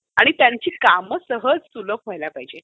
आणि त्यांची कामं सहज सुलभ व्हायला पाहिजेत.